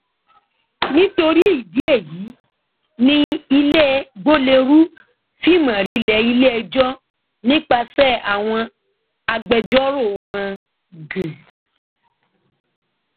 nítorí ìdí èyí ni ilé gbolérù fi mórílẹ iléẹjọ nípasẹ àwọn agbẹjọrò wọn g